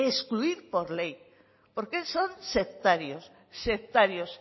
excluir por ley porque son sectarios sectarios